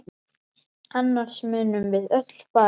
Annars munum við öll farast!